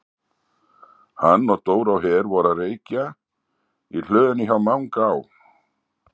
Hann og Dóri á Her voru að reykja í hlöðunni hjá Manga á